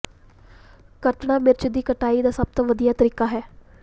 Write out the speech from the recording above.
ਕੱਟਣਾ ਮਿਰਚ ਦੀ ਕਟਾਈ ਦਾ ਸਭ ਤੋਂ ਵਧੀਆ ਤਰੀਕਾ ਹੈ